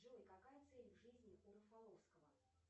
джой какая цель в жизни у рафаловского